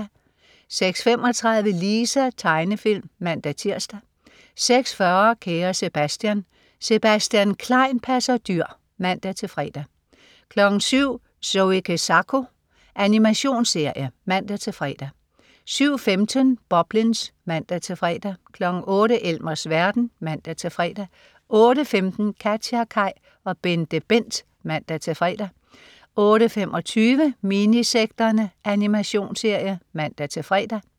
06.35 Lisa. Tegnefilm (man-tirs) 06.40 Kære Sebastian. Sebastian Klein passer dyr (man-fre) 07.00 Zoe Kezako. Animationsserie (man-fre) 07.15 Boblins (man-fre) 08.00 Elmers verden (man-fre) 08.15 KatjaKaj og BenteBent (man-fre) 08.25 Minisekterne. Animationsserie (man-fre)